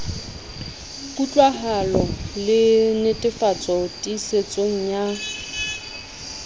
kutlwahalo le netefatso tiisetso ya